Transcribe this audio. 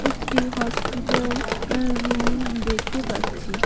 একটি হসপিটাল আ-রুম দেখতে পাচ্ছি।